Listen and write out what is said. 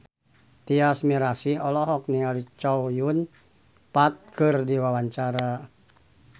Tyas Mirasih olohok ningali Chow Yun Fat keur diwawancara